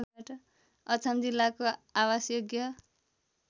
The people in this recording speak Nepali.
अछाम जिल्लाको आवासयोग्य